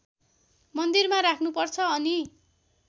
मन्दिरमा राख्नुपर्छ अनि